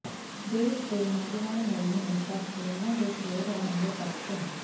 ਦੇਸ਼ ਦੇ ਨੌਜਵਾਨਾਂ ਲਈ ਹਮੇਸ਼ਾ ਪ੍ਰੇਰਨਾ ਦੇ ਸਰੋਤ ਰਹਿਣਗੇ ਭਗਤ ਸਿੰਘ